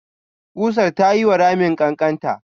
ƙusar ta yiwa ramin ƙanƙanta.